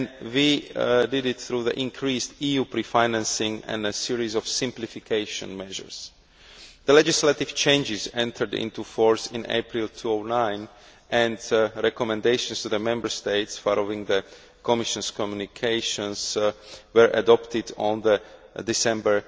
We did this through increased EU pre financing and a series of simplification measures. The legislative changes entered into force in April 2009 and recommendations to the Member States, following the Commission's communications, were adopted in December